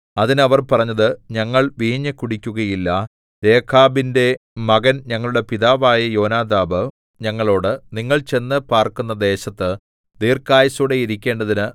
അതിന് അവർ പറഞ്ഞത് ഞങ്ങൾ വീഞ്ഞു കുടിക്കുകയില്ല രേഖാബിന്റെ മകൻ ഞങ്ങളുടെ പിതാവായ യോനാദാബ് ഞങ്ങളോട് നിങ്ങൾ ചെന്നു പാർക്കുന്ന ദേശത്ത് ദീർഘായുസ്സോടെ ഇരിക്കേണ്ടതിന്